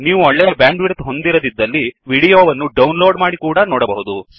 ನೀವು ಒಳ್ಳೆಯ ಬ್ಯಾಂಡ್ವಿಯಡ್ತ್ ಹೊಂದಿರದಿದ್ದಲ್ಲಿ ವಿಡಿಯೋ ವನ್ನು ಡೌನ್ಲೋrಡ್ ಮಾಡಿ ಕೂಡಾ ನೋಡಬಹುದು